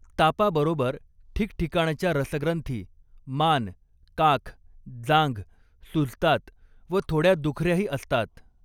तापाबरोबर ठिकठिकाणच्या रसग्रंथी मान काख, जांघ सुजतात व थोडया दुख याही असतात.